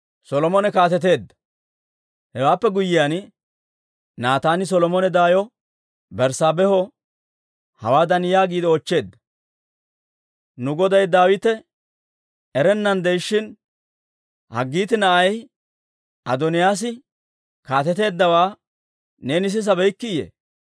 Hewaappe guyyiyaan, Naataani Solomone daayo Berssaabeeho hawaadan yaagiide oochcheedda; «Nu goday Daawite erennan de'ishshin, Haggiitti na'ay Adooniyaas kaateteeddawaa neeni sisabeykkiiyye?